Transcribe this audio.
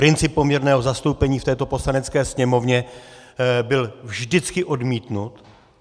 Princip poměrného zastoupení v této Poslanecké sněmovně byl vždycky odmítnut.